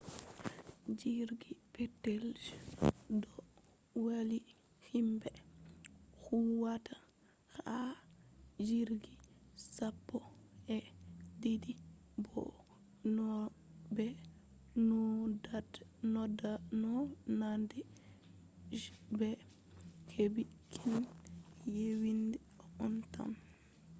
jirgi petel je do valli himbe huwata ha jirgi sappo-e-didi bo naunande je be hebi kine yewinga on tan